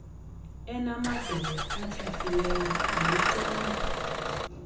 enamadolo atyhafileyo wayicinga